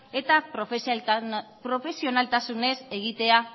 eta profesionaltasunez egitea